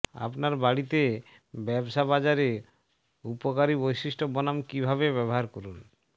আপনার বাড়িতে ব্যবসা বাজারে উপকারী বৈশিষ্ট্য বনাম কিভাবে ব্যবহার করুন